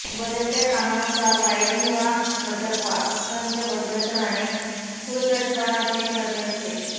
बदलत्या कामानुसार वायरिंग वा घटक वा संच बदलत राहणे खुळचटपणाचे ठरले असते